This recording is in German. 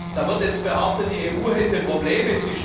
Da wird jetzt behauptet, die EU hätte Probleme.